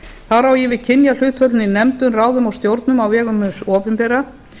þar á ég við kynjahlutföllin í nefndum ráðum og stjórnum á vegum hins opinbera